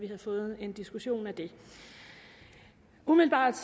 have fået en diskussion af det umiddelbart